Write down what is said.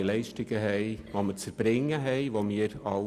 Es ist klar festgelegt, welche Leistungen wir zu erbringen haben.